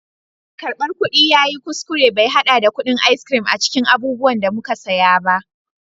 mai karbar kudi ya yi kuskure bai hada da kudin ice cream a cikin abubuwan da muka saya ba